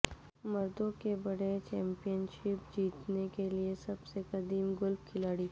مردوں کے بڑے چیمپئن شپ جیتنے کے لئے سب سے قدیم گولف کھلاڑی